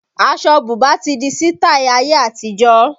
Aṣọ bùbá ti di sitai ayé àtijọ́